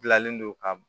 Bilalen don ka